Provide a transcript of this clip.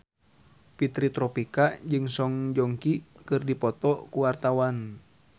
Fitri Tropika jeung Song Joong Ki keur dipoto ku wartawan